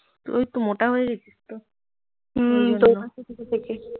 তুই একটু মোটা হয়ে গেছিস তো